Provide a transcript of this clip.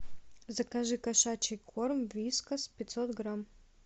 закажи кошачий корм вискас пятьсот грамм